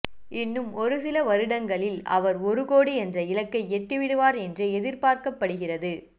இன்னும் ஒருசில வருடங்களில் அவர் ஒருகோடி என்ற இலக்கை எட்டிவிடுவார் என்றே எதிர்பார்க்கப்படுகிறது